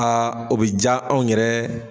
Aa o bɛ ja anw yɛrɛ